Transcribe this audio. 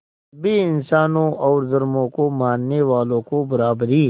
सभी इंसानों और धर्मों को मानने वालों को बराबरी